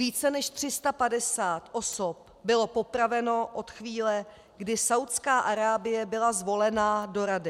Více než 350 osob bylo popraveno od chvíle, kdy Saúdská Arábie byla zvolena do Rady.